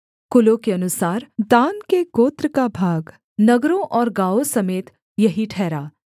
कुलों के अनुसार दान के गोत्र का भाग नगरों और गाँवों समेत यही ठहरा